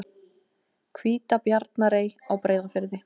Hvítabjarnarey á Breiðafirði.